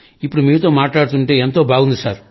ఇప్పుడు మీతో మాట్లాడుతుంటే ఎంతో బాగుంది సార్